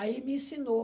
Aí me ensinou.